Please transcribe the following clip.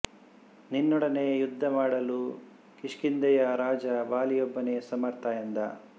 ನಿನ್ನೊಡನೆ ಯುದ್ಧ ಮಾಡಲು ಕಿಷ್ಕಿಂಧೆಯ ರಾಜ ವಾಲಿಯೊಬ್ಬನೇ ಸಮರ್ಥ ಎಂದ